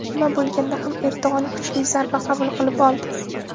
Nima bo‘lganda ham, Erdo‘g‘on kuchli zarba qabul qilib oldi.